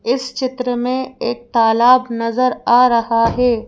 इस चित्र में एक तालाब नजर आ रहा है।